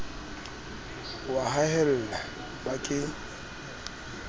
o a haella ba ke